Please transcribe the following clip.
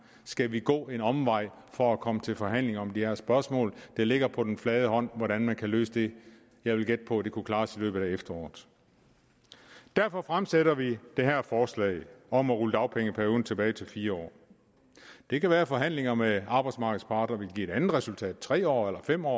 skal vi gå en omvej for at komme til forhandling om det her spørgsmål det ligger på den flade hånd hvordan man kan løse det jeg vil gætte på at det kunne klares i løbet af efteråret derfor fremsætter vi det her forslag om at rulle dagpengeperioden tilbage til fire år det kan være at forhandlinger med arbejdsmarkedets parter vil give et andet resultat tre år eller fem år